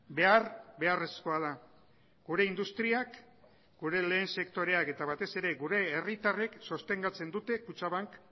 behar beharrezkoa da gure industriak gure lehen sektoreak eta batez ere gure herritarrek sostengatzen dute kutxabank